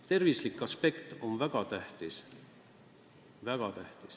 Tervise aspekt on väga tähtis!